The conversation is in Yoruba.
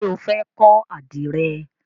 Ṣé o fẹ́ kọ́ àdìrẹ?